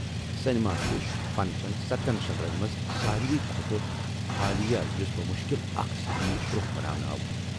Cinema چھُ فنہٕ چن ستن شکلن منٛز ساروے کھوتہٕ حالیہ، یُس بمشکل اکھ صدی برونٛہہ بناونہٕ آو ۔